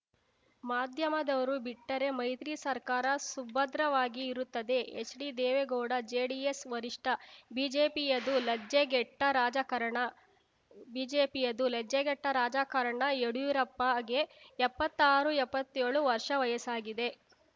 ಮಾಧ್ಯಮದವರು ಬಿಟ್ಟರೆ ಮೈತ್ರಿ ಸರ್ಕಾರ ಸುಭದ್ರವಾಗಿಯೇ ಇರುತ್ತದೆ ಎಚ್‌ಡಿದೇವೇಗೌಡ ಜೆಡಿಎಸ್‌ ವರಿಷ್ಠ ಬಿಜೆಪಿಯದು ಲಜ್ಜೆಗೆಟ್ಟರಾಜಕಾರಣ ಬಿಜೆಪಿಯದು ಲಜ್ಜೆಗೆಟ್ಟರಾಜಕಾರಣ ಯಡಿಯೂರಪ್ಪಗೆ ಎಪ್ಪತ್ತಾರು ಎಪ್ಪತ್ತೇಳು ವರ್ಷ ವಯಸ್ಸಾಗಿದೆ